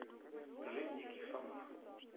жизнь диких слонов